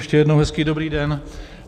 Ještě jednou hezký dobrý den.